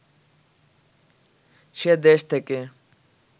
সে দেশ থেকে